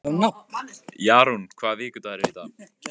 Jarún, hvaða vikudagur er í dag?